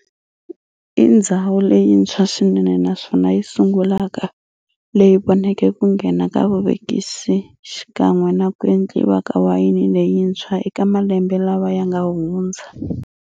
I ndzhawu leyintshwa swinene naswona yisungulaka leyi voneke ku nghena ka vuvekisi xikan'we naku endliwa ka wayeni leyintshwa eka malembe lawa yanga hundza.